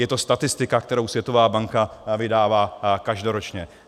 Je to statistika, kterou Světová banka vydává každoročně.